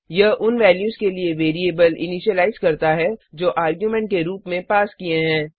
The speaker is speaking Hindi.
यह उन वैल्यूज के लिए वेरिएबल इनिशीलाइज करता है जो आर्ग्युमेंट के रूप में पास किये हैं